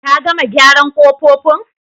Ka gama gyaran kofofin?